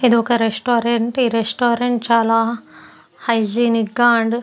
ఇదొక రెస్టారెంట్ ఈ రెస్టారెంట్ చాలా హైజినిగా అండ్ --